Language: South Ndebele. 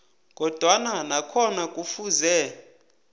kodwana nakhona kufuze